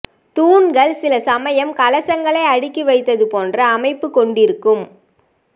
தூண்கள் சில சமயம் கலசங்களை அடுக்கி வைத்தது போன்ற அமைப்பு கொண்டிருக்கும்